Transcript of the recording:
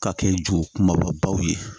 Ka kɛ ju kumabaw ye